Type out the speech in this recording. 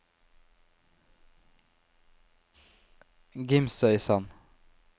Gimsøysand